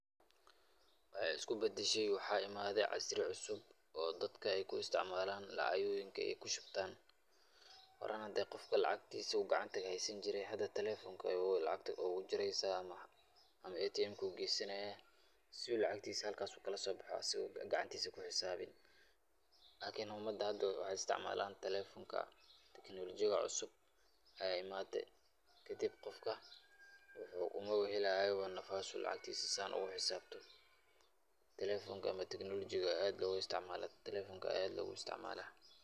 Waxay isku badashe waxaa imade casri cusub oo dadka ay ku isticmaalan lacagoyinka ay kushubtan horan hadii qofka lacagtiisa haysan jire hada talefonka aya lacagta ogu direysa ama ATM ka ayu geesanaya si u lacagtiisa halkasi u kalosobaxa si u gacantiisu u ku xisaabiyo lakin umadda hada waxay istcimaalan talefonka teknolojiyada cusub aya imaade kadib qofka umabahelayo nafas u lacagtiisa sidan ogu xisabiya telefonka ama teknolojiga aya aad logu isticmaala telefonka aya aad logu isticmaala.